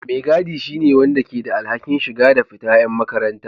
Mai gaɗi shine wanda ke da alhakin shiga da fita yan makaranta.